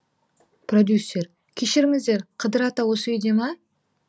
продюссер кешіріңіздер қыдыр ата осы үйде ме